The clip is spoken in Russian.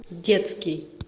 детский